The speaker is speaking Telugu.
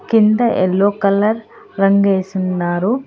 కింద ఎల్లో కలర్ రంగు ఏసున్నారు